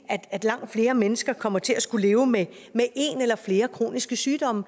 at langt flere mennesker kommer til at skulle leve med en eller flere kroniske sygdomme